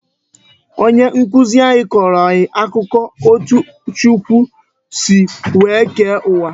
Onye nkụzi anyị kọrọ anyị akụkọ etu Chukwu si wee kee uwa